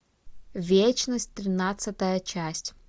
вечность тринадцатая часть